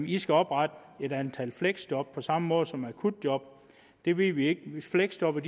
i skal oprette et antal fleksjob på samme måde som akutjob det ved vi ikke fleksjobbere